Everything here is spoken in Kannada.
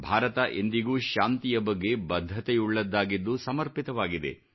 ಭಾರತ ಎಂದಿಗೂ ಶಾಂತಿಯ ಬಗ್ಗೆ ಬದ್ಧತೆಯುಳ್ಳದ್ದಾಗಿದ್ದು ಸಮರ್ಪಿತವಾಗಿದೆ